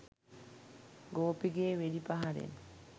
ගෝපිගේ වෙඩි පහරින්